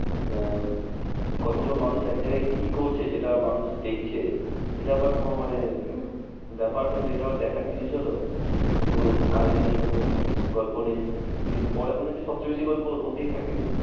আহ কত গুলো মানুষ এক জায়গায় কি করছে যেটা মানুষ দেখছে? এটা আবার কোনো মানে ব্যাপার হলো? এটা আবার দেখার জিনিস হলো? কোনো কাহিনী নেই কোনো গল্প নেই। কিন্তু পরে মনে হয়েছে সব চেয়ে বেশি গল্প ওর মধ্যেই থাকে।